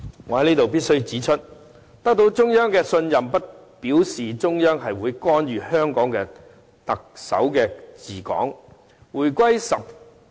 我在這裏必須指出，得到中央信任不表示中央會干預香港特首治港。